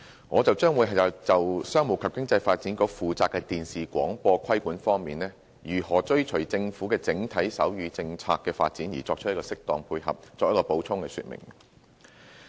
我將會就商務及經濟發展局負責的電視廣播規管方面，如何追隨政府的整體手語政策的發展而作出適當配合，作補充說明。